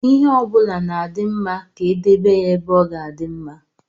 Ihe ọbụla na-adị mma ka e edebe ya ebe ọ ga-adị mma.